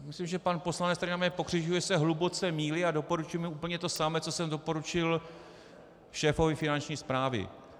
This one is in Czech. Myslím, že pan poslanec, který na mě pokřikuje, se hluboce mýlí a doporučuji mu úplně to samé, co jsem doporučil šéfovi Finanční správy.